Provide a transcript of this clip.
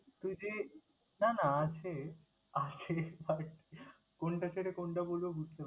তুই যে না না আছে আছে but কোনটা ছেড়ে কোনটা বলবো বুঝতে পারছিনা।